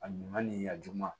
A ɲuman ni ya juma